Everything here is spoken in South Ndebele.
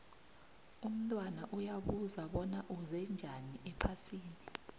umntwana uyabuza bona uze njani ephasini